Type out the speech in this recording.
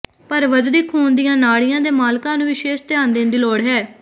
ਪਰ ਵਧਦੀ ਖੂਨ ਦੀਆਂ ਨਾੜੀਆਂ ਦੇ ਮਾਲਕਾਂ ਨੂੰ ਵਿਸ਼ੇਸ਼ ਧਿਆਨ ਦੇਣ ਦੀ ਲੋੜ ਹੈ